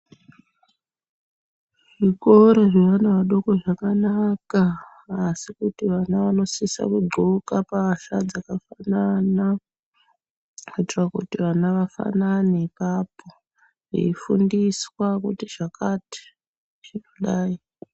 Zvikora zveana adoko zvakanaka asi tinosisa kundxoka pahla dzakafanana kuitira kuti vana vafanane apapo veyifundiswa kuti zvakati zvinodai.